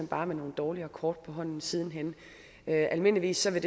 bare med nogle dårligere kort på hånden siden hen almindeligvis vil